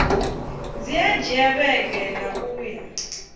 dzi dzhia vhege nṋa uya